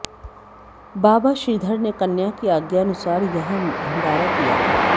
बाबा श्रीधर ने कन्या की आज्ञानुसार यहां भंडारा किया था